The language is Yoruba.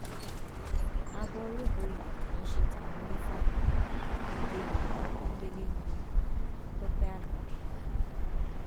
aboru bòye kì í ṣe tàwọn onífà èdè yorùbá pọnńbélé ní tọpẹ alábì